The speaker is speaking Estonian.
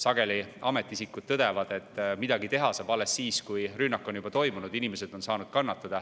Sageli tõdevad ametiisikud, et midagi teha saab alles siis, kui rünnak on juba toimunud ja inimesed on kannatada saanud.